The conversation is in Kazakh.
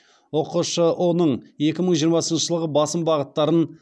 ұқшұ ның екі мың жиырмасыншы жылғы басым бағыттарын